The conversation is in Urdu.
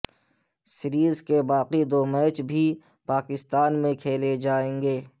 سیریز کے باقی دو میچ بھی پاکستان میں کھیلے جائیں گے